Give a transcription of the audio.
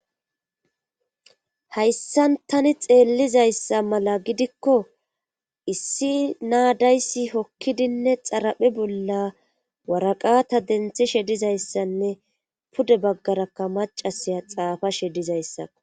Hayssan tani xeellizayssa mala gidikko issi naadayssi hokkidinne xaraphe bolla waraqata denthishe dizayssanne pude baggarakka macasiya xaafashe dizayssako.